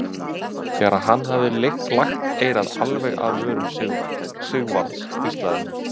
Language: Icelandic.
Þegar hann hafði lagt eyrað alveg að vörum Sigvarðs hvíslaði hann